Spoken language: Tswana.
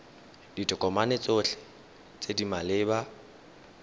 ditokomane tsotlhe tse di maleba